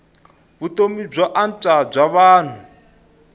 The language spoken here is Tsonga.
vutomi byo antswa bya vanhu